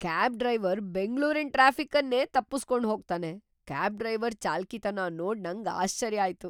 Cab driver ಬೆಂಗ್ಳೂರಿನ್ traffic ಅನ್ನೇ ತಪ್ಪುಸ್ಕೊಂಡ್ ಹೋಗ್ತಾನೆ . ಕ್ಯಾಬ್ ಡ್ರೈವರ್ ಚಾಲಾಕಿತನ ನೋಡ್ ನಂಗ್ ಆಶ್ಚರ್ಯ ಆಯ್ತು;